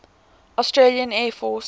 australian air force